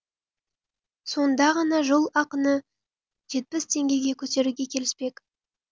сонда ғана жол ақыны жетпіс теңгеге көтеруге келіспек